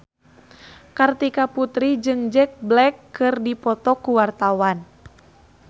Kartika Putri jeung Jack Black keur dipoto ku wartawan